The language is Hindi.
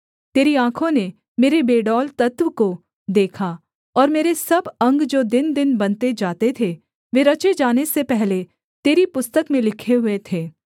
तेरी आँखों ने मेरे बेडौल तत्व को देखा और मेरे सब अंग जो दिनदिन बनते जाते थे वे रचे जाने से पहले तेरी पुस्तक में लिखे हुए थे